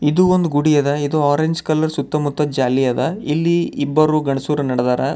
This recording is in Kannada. ಇದು ಒಂದು ಗುಡಿ ಅದ ಇದು ಆರೆಂಜ್ ಕಲರ್ ಸುತ್ತಮುತ್ತ ಜಾಲಿ ಅದ ಇಲ್ಲಿ ಇಬ್ಬರು ಗಂಡ್ಸುರು ನಡದಾರ.